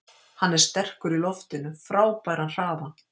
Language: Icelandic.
Hann er sterkur í loftinu, frábæran hraða.